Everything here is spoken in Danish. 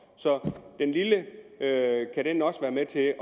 så kan den lille også være med til